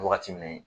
Wagati min